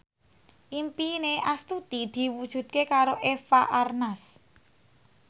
impine Astuti diwujudke karo Eva Arnaz